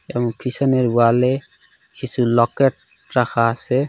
এব পিছনের ওয়ালে কিছু লকেট রাখা আসে।